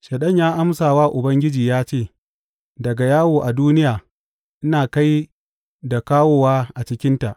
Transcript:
Shaiɗan ya amsa wa Ubangiji ya ce, Daga yawo a duniya ina kai da kawowa a cikinta.